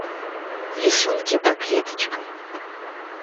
рисунки по клеточкам